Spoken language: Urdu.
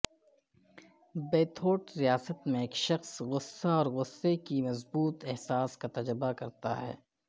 بیتھورٹ ریاست میں ایک شخص غصہ اور غصہ کی مضبوط احساس کا تجربہ کرتا ہے